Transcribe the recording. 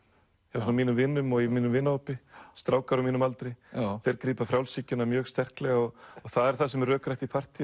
hjá svona mínum vinum og í mínum vinahópi strákar á mínum aldri grípa frjálshyggjuna mjög sterklega og það er það sem er rökrætt í partýum